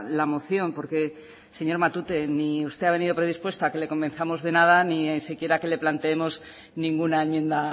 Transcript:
la moción porque señor matute ni usted ha venido predispuesto a que le convenzamos de nada ni siquiera que le planteemos ninguna enmienda